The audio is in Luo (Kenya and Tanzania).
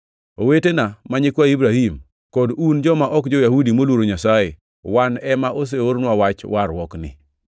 “Owetena, ma nyikwa Ibrahim, kod un joma ok jo-Yahudi moluoro Nyasaye, wan ema oseornwa wach warruokni.